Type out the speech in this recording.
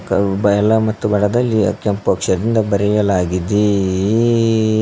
ಮತ್ತು ಬಡದಲಿ ಕೆಂಪು ಅಕ್ಷರದಿಂದ ದೊಡ್ಡದಾಗಿ ಬರೆಯಲಾಗಿದೆ.